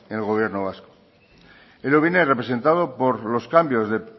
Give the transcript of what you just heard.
en el gobierno vasco ello viene representado por los cambios de